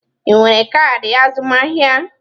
Ị nwere kaadị azụmahịa?